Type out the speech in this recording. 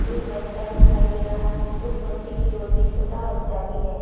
एक बच्चा दिखाई दे रहा है उस बच्चे की गोद में एक छोटा बच्चा भी है।